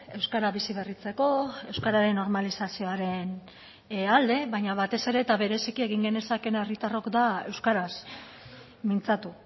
euskara biziberritzeko euskararen normalizazioaren alde baina batez ere eta bereziki egin genezakeena herritarrok da euskaraz mintzatu